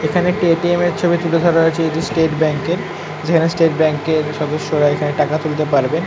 এখানে একটি .ATM ছবি তুলে ধরা হয়েছে এটি স্টেট ব্যাঙ্ক - এর যেখনে স্টেট ব্যাঙ্ক - এর সদস্যরা এখানে টাকা তুলতে পারবে